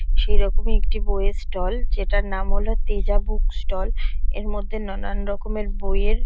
সেরকমই একটি বই এর ষ্টল যেটার নাম হলো তেজা বুক ষ্টল এর মধ্যে নানান রকম এর বই এর --